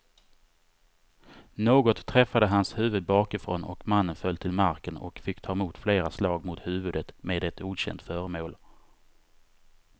Något träffade hans huvud bakifrån och mannen föll till marken och fick ta emot flera slag mot huvudet med ett okänt föremål.